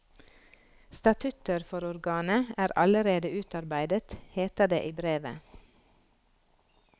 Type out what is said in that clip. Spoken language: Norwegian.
Statutter for organet er allerede utarbeidet, heter det i brevet.